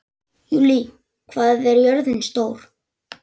Júlí, hvað er jörðin stór?